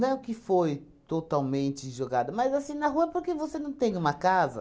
Não que foi totalmente jogado, mas assim, na rua, porque você não tem uma casa.